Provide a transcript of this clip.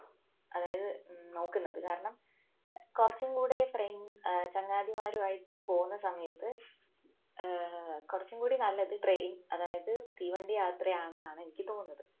അതായത് നോക്കുന്നത് കാരണം കുറച്ചുൻകൂടെ friend ഏർ ചങ്ങാതിമാരും ആയിട്ട് പോകുന്ന സമയത്ത് ഏർ കുറച്ചുകൂടി നല്ലത് train അതായത് തീവണ്ടി യാത്രയാണെന്നാണ് എനിക്ക് തോന്നുന്നത്